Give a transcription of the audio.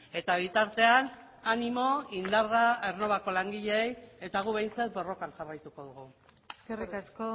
eta bitartean animo indarra aernnovako langileei eta guk behintzat borrokan jarraituko dugu eskerrik asko